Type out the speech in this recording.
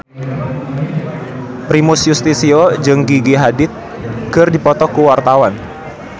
Primus Yustisio jeung Gigi Hadid keur dipoto ku wartawan